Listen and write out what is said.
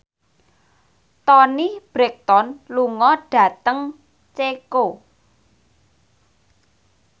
Toni Brexton lunga dhateng Ceko